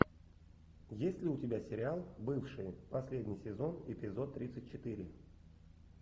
есть ли у тебя сериал бывшие последний сезон эпизод тридцать четыре